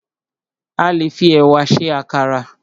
A le fi ẹ̀wà se àkàrà